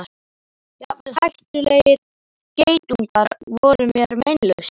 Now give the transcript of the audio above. Jafnvel hættulegir geitungar voru mér meinlausir.